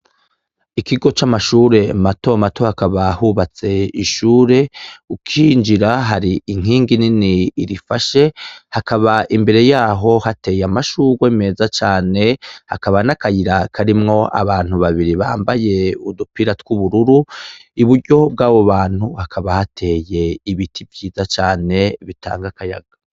Ikigo camashure mato mato hakaba hubatse ishure ucinjira hari inkingi nini irifashe hakaba imbere yaho hateye amashurwe meza cane hakaba nakayira karimwo abantu babiri bambaye udupira twubururu iburyo bwabo bantu hakaba hateye ibiti vyiza cane bitanga akayaga.